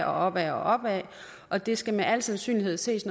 opad opad og det skal med al sandsynlighed ses